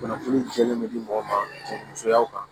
Kunnafoni jɛlen bɛ di mɔgɔ ma cɛmusoya kan